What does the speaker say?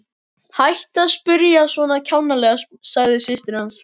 Hættu að spyrja svona kjánalega sagði systir hans.